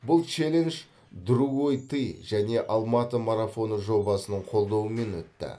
бұл челендж другой ты және алматы марафоны жобасының қолдауымен өтті